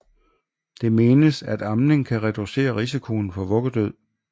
Det menes at amning kan reducere risikoen for vuggedød